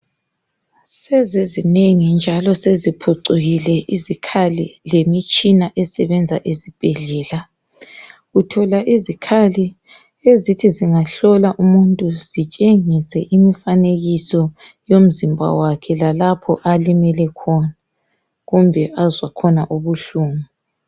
Sezizinengi njalo seziphucukile izikhathi lemitshina esebenza esibhedlela uthola izikhathi ezithi zingahlola umuntu zitshengise imifanekiso yomzimba wakhe lalapho alimele khona kumbe aziwa khona ubuhlungu.